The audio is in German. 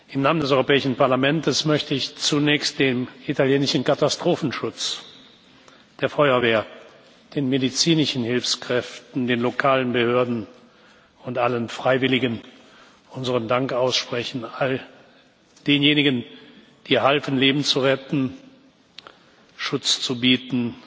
Im Namen des Europäischen Parlaments möchte ich zunächst dem italienischen Katastrophenschutz, der Feuerwehr, den medizinischen Hilfskräften, den lokalen Behörden und allen Freiwilligen unseren Dank aussprechen all denjenigen, die halfen, Leben zu retten, Schutz zu bieten